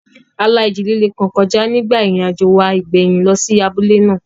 A la ìjì líle kan kọjá nígbà ìrìnàjò wa ìgbẹ̀yìn lọ sí abúlé náà